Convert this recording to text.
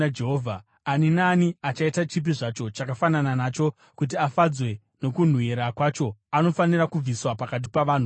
Ani naani achaita chipi zvacho chakafanana nacho kuti afadzwe nokunhuhwira kwacho, anofanira kubviswa pakati pavanhu vokwake.”